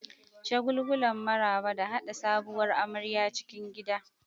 Shagulgulan maraba da haɗa sabuwar amarya cikin gida.